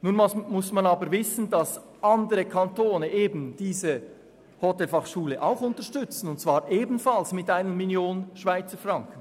Nun muss man aber wissen, dass andere Kantone diese Hotelfachschule auch unterstützen, und zwar ebenfalls mit 1 Mio. Franken.